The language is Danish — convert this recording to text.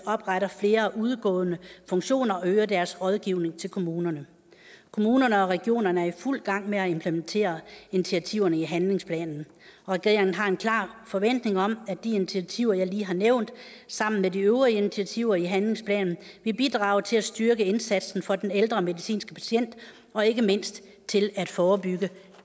opretter flere udgående funktioner og øger deres rådgivning til kommunerne kommunerne og regionerne er i fuld gang med at implementere initiativerne i handlingsplanen og regeringen har en klar forventning om at de initiativer jeg lige har nævnt sammen med de øvrige initiativer i handlingsplanen vil bidrage til at styrke indsatsen for den ældre medicinske patient og ikke mindst til at forebygge